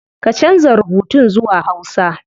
Ka canza rubutun zuwa hausa